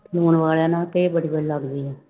ਲੂਣ ਵਾਲਿਆਂ ਨਾ ਕਿ ਬੜੀ ਵਧੀਆ ਲੱਗਦੀ ਆ।